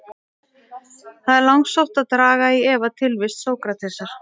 Það er langsótt að draga í efa tilvist Sókratesar.